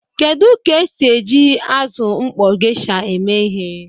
Kedu ka esi eji azụ mkpọ geisha eme ihe?